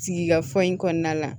Sigikafɔ in kɔnɔna la